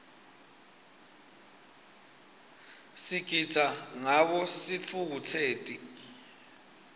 sigitsa ngawo sitfukutseti